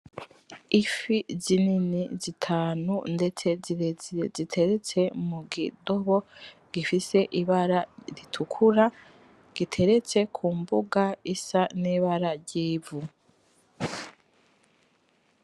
Ifi zinini zitanu ndetse zirezire ziteretse mukidobo , gifise ibara ritukura giteretse kumbuga isa nibara ry'ivu .